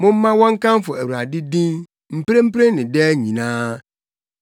Momma wɔnkamfo Awurade din, mprempren ne daa nyinaa.